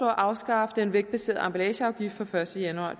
at afskaffe den vægtbaserede emballageafgift fra første januar